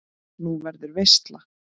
Nú, verður veisla?